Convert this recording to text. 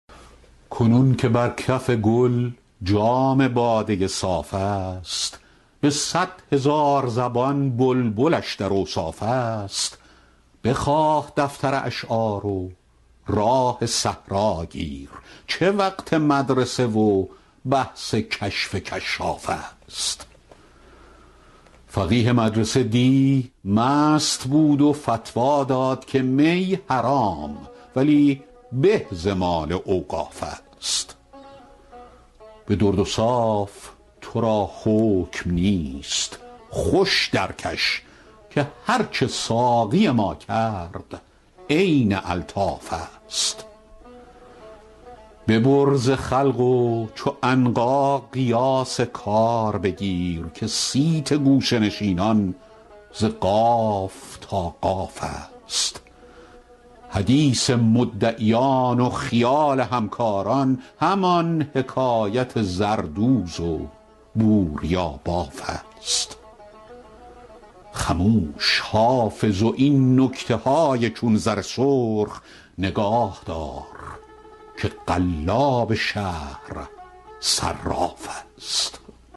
کنون که بر کف گل جام باده صاف است به صد هزار زبان بلبلش در اوصاف است بخواه دفتر اشعار و راه صحرا گیر چه وقت مدرسه و بحث کشف کشاف است فقیه مدرسه دی مست بود و فتوی داد که می حرام ولی به ز مال اوقاف است به درد و صاف تو را حکم نیست خوش درکش که هرچه ساقی ما کرد عین الطاف است ببر ز خلق و چو عنقا قیاس کار بگیر که صیت گوشه نشینان ز قاف تا قاف است حدیث مدعیان و خیال همکاران همان حکایت زردوز و بوریاباف است خموش حافظ و این نکته های چون زر سرخ نگاه دار که قلاب شهر صراف است